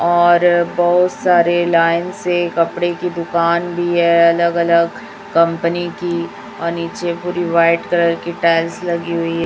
और बहुत सारे लाईन से कपड़े की दुकान भी है अलग अलग कंपनी की और नीचे पूरी व्हाईट कलर की टाइल्स लगी हुई --